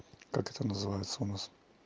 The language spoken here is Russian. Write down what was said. как это называется у нас